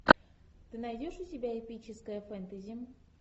ты найдешь у себя эпическое фэнтези